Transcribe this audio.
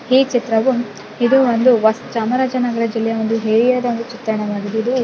ಈ ಚಿತ್ರವು ಇದೊಂದು ಚಾಮರಾಜನಗರ ಜಿಲ್ಲೆಯ ಒಂದು ಚಿತ್ರಣವಾಗಿದೆ.